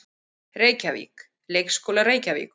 Reykjavík: Leikskólar Reykjavíkur.